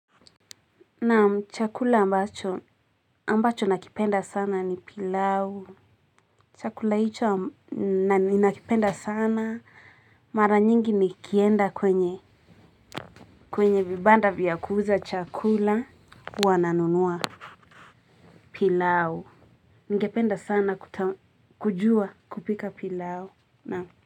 Naam chakula ambacho, ambacho nakipenda sana ni pilau. Chakula hicho ni nakipenda sana, mara nyingi nikienda kwenye, kwenye vibanda vya kuuza chakula, huwa nanunua pilau. Ningependa sana kujua kupika pilau.